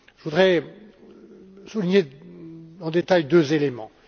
Je voudrais souligner en détail deux éléments.